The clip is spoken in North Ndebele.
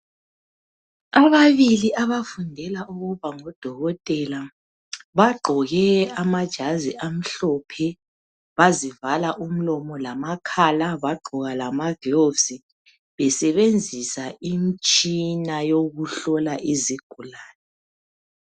Ababili abafundela ukuba ngodokotela bagqoke amajazi amhlophe bazivala umlomo lamakhala bagqoka lamagilovisi besebenzisa imitshina yokuhlola izigulane.